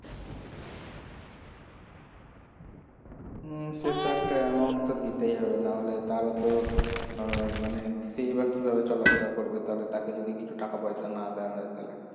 হম সে তো একটা amount তো দিতেই হবে নাহলে তার ও তো উম মানে সেই বা কিভাবে চলাফেরা করবে তাহলে তাকে যদি কিছু টাকাপয়সা না দেওয়া হয় তাহলে